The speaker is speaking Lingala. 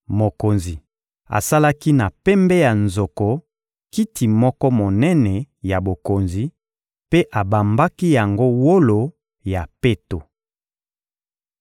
Mokonzi asalaki na pembe ya nzoko kiti moko monene ya bokonzi mpe abambaki yango wolo ya peto.